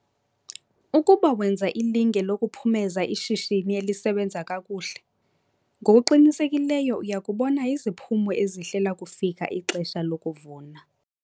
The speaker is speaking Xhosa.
Ukuba wenza ilinge lokuphumeza ishishini elisebenza kakuhle ngokuqinisekileyo uya kubona iziphumo ezihle lakufika ixesha lokuvuna.